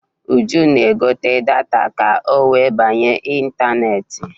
Uju na-egote data ka ọ wee banye ịntaneetị.